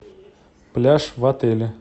пляж в отеле